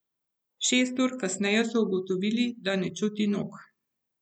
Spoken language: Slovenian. Šest ur kasneje so ugotovili, da ne čuti nog.